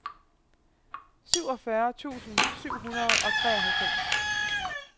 syvogfyrre tusind syv hundrede og treoghalvfems